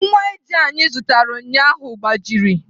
Nwa ije anyị zụtara ụnyaahụ agbajiri.